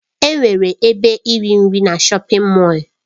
Enwere ebe iri nri na shọpin Mọll.